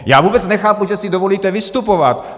Já vůbec nechápu, že si dovolíte vystupovat!